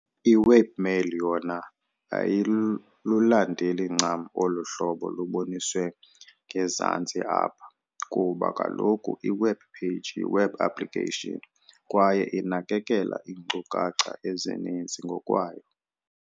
I-Webmail yona ayilulandeli ncam olu hlobo luboniswe ngezantsi apha, kuba kaloku i-webpage yi-web application kwaye inakekela iinkcukacha ezininzi ngokwayo.